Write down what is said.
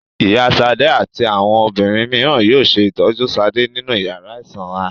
Ìyá Ṣadé àti àwọn obìnrin mìíràn yóò ṣe ìtọ́jú Ṣadé nínú ìyàrá ìsanra.